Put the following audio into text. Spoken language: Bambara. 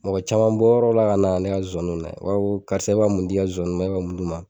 Mɔgɔ caman bɛ bɔ yɔrɔw la ka na ne ka nzozani lajɛ, i b'a fɔ karisa e bɛ ka mun di ya nzozaniw ma, e bɛ ka mun d'u ma?